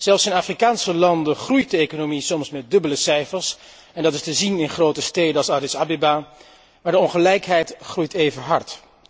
Zelfs in Afrikaanse landen groeit de economie soms met dubbele cijfers, en dat is te zien in grote steden als Addis Abeba, maar de ongelijkheid groeit even hard.